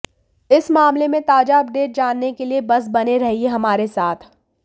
इस मामले में ताजा अपडेट जानने के लिए बस बने रहिये हमारे साथ